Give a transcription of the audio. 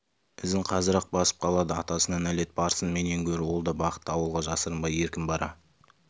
ізін қазір-ақ басып қалады атасына нәлет барсын менен гөрі ол да бақытты ауылға жасырынбай еркін бара